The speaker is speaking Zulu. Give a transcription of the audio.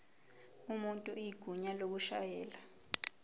umuntu igunya lokushayela